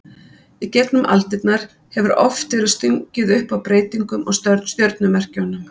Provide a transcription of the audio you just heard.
Í gegnum aldirnar hefur oft verið stungið upp á breytingum á stjörnumerkjunum.